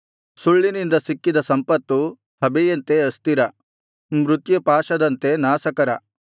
ಸುಳ್ಳಿನಿಂದ ಸಿಕ್ಕಿದ ಸಂಪತ್ತು ಹಬೆಯಂತೆ ಅಸ್ಥಿರ ಮೃತ್ಯುಪಾಶದಂತೆ ನಾಶಕರ